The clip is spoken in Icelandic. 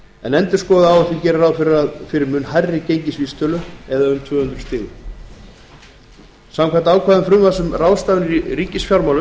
en endurskoðuð áætlun gerir ráð fyrir mun hærri gengisvísitölu eða tvö hundruð stigum samkvæmt ákvæðum frumvarps um ráðstafanir í ríkisfjármálum